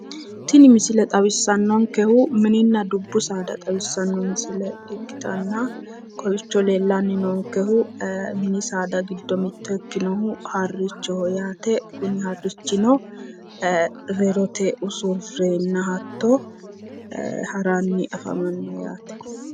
Tini misile xawissannonkehu mininna dubbu saada xawissanno misile ikkitanna kowiicho mini saada giddo mitto ikkinohu harrichoho yaate kuni harrichino rerotenni usurrenna hatto haranni afamanno yaate.